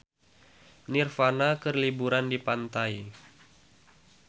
Nirvana keur liburan di pantai